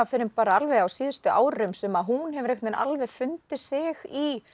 fyrr en bara alveg á síðustu árum sem að hún hefur alveg fundið sig